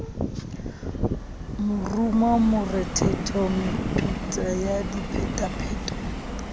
morumo morethetho metuta ya diphetapheto